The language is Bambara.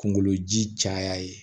Kungolo ji caya ye